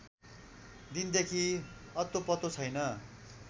दिनदेखि अत्तोपत्तो छैन